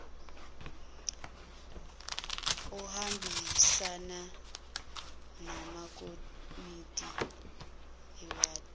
ohambisana namakomiti ewadi